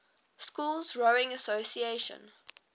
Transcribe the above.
schools rowing association